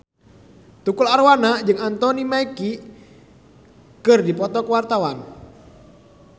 Tukul Arwana jeung Anthony Mackie keur dipoto ku wartawan